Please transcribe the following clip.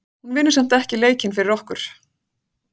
Hún vinnur samt ekki leikinn fyrir okkur.